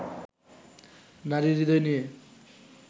নারীর হৃদয় নিয়ে